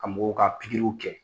Ka mɔgɔw ka pikiriw kɛ.